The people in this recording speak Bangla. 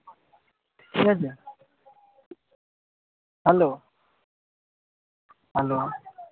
hello hello